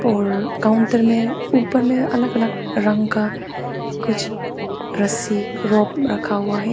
और काउंटर में ऊपर में अलग अलग रंग का कुछ रस्सी रखा हुआ है।